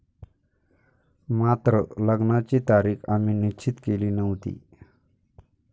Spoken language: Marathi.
मात्र लग्नाची तारीख आम्ही निश्चित केली नव्हती.